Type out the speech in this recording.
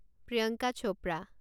Priyanka Chopra